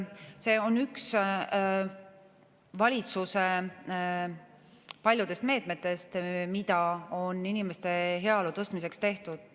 See on üks valitsuse paljudest meetmetest, mida on inimeste heaolu tõstmiseks tehtud.